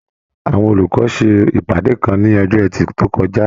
Àwọn olùkọ ṣe ìpàdé kan ní ọjọ ẹtì to kọjá.